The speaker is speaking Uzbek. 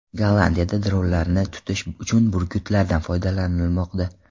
Gollandiyada dronlarni tutish uchun burgutlardan foydalanilmoqda .